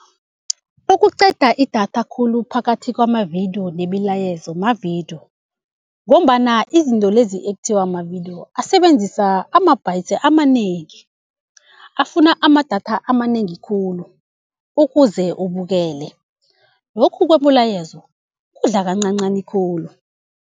Okuqeda idatha khulu phakathi kwamavidiyo nemilayezo mavidiyo, ngombana izinto lezi ekuthiwa mavidiyo asebenzisa ama-bytes amanengi, afuna amadatha amanengi khulu ukuze ubukele. Lokhu kwemilayezo kudla kancancani khulu.